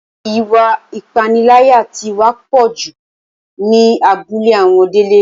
Ìwà ìpániláyà tí wá pọ̀ dójú ẹ ní abúlé àwọn Délé